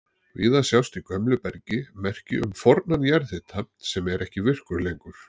Víða sjást í gömlu bergi merki um fornan jarðhita sem er ekki virkur lengur.